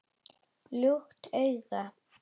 Lukt augu